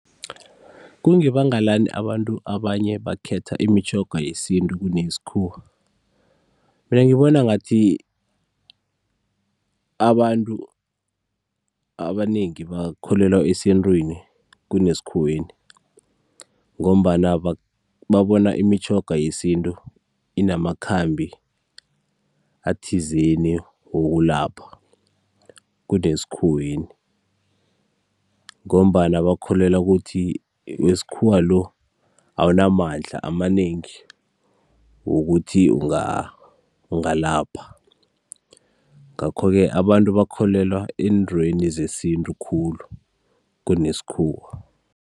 Kungebanga lani abantu abanye bakhetha imitjhoga yesintu kuneyesikhuwa? Mina ngibona ngathi abantu abanengi bakholelwa esintwini kunesikhuweni ngombana babona imitjhoga yesintu inamakhambi athizeni wokulapha kunesikhuweni, ngombana bakholelwa ukuthi wesikhuwa lo awunamandla amanengi wokuthi ungalapha, ngakho-ke abantu bakholelwa eentweni zesintu khulu khunesikhuwa.